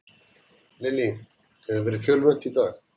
Lillý, hefur verið fjölmennt í dag?